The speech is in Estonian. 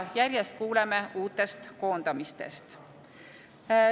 Järjest kuuleme uutest koondamistest.